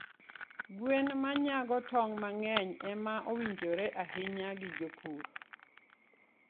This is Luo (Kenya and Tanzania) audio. Gwen ma nyago tong' mang'eny, ema owinjore ahinya gi jopur.